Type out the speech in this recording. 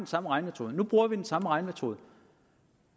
samme regnemetode nu bruger vi den samme regnemetode